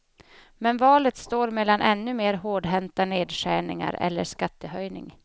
Men valet står mellan ännu mer hårdhänta nedskärningar eller skattehöjning.